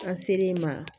An ser'i ma